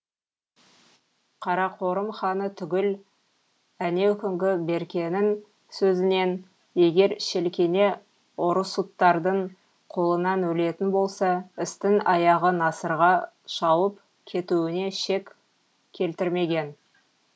қарақорым ханы түгіл әнеукүнгі беркенің сөзінен егер шелкене орұсуттардың қолынан өлетін болса істің аяғы насырға шауып кетуіне шек келтірмеген